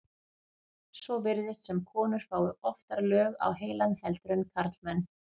svo virðist sem konur fái oftar lög á heilann heldur en karlmenn